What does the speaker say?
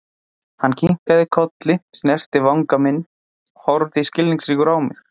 Hann kinkaði kolli, snerti vanga minn og horfði skilningsríkur á mig.